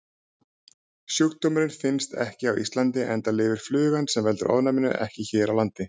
Sjúkdómurinn finnst ekki á Íslandi enda lifir flugan sem veldur ofnæminu ekki hér á landi.